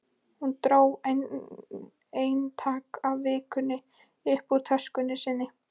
Hún dró eintak af Vikunni upp úr töskunni sinni.